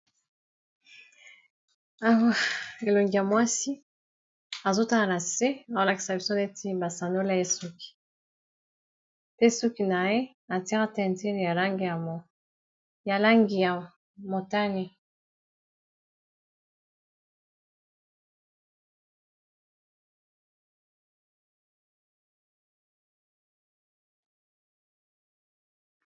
Awa elongi ya mwasi azotala na se azolakisa biso neti basandola ye suki te suki na ye atiya tentures ya langi ya motani.